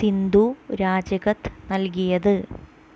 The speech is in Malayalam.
സിന്ധു രാജിക്കത്ത് നല്കിയത്